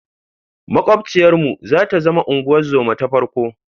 Maƙwabciyarmu za ta zama unguwar zoma ta farko.